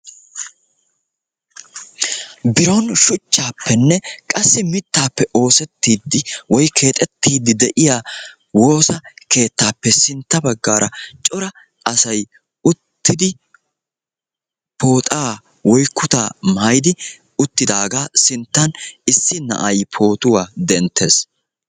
bironi shuchchappene mittappe keexetidi de"iya wosiyo keettape sintta bagara corra assati bootta kutta maayidagetta issi na"ay photuwaa dentidi beettesi.